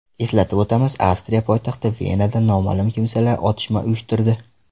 Eslatib o‘tamiz, Avstriya poytaxti Venada noma’lum kimsalar otishma uyushtirdi .